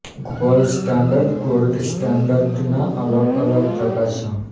gold standard gold સ્ટાન્ડર્ડના અલગ અલગ પ્રકાર છે